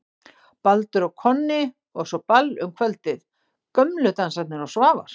Baldur og Konni og svo ball um kvöldið: Gömlu Dansarnir og Svavar